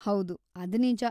ಹೌದು, ಅದ್‌ ನಿಜ.